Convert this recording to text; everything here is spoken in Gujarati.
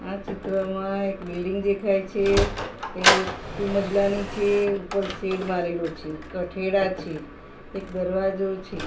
આ ચિત્રમાં એક બિલ્ડીંગ દેખાય છે એ ટુ મજલાની છે ઉપર શેડ મારેલું છે કઠેડા છે એક દરવાજો છે.